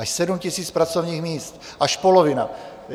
Až 7 000 pracovních míst, až polovina.